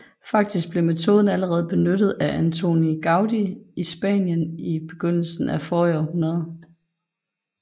Faktisk blev metoden allerede benyttet af Antoni Gaudí i Spanien i begyndelsen af forrige århundrede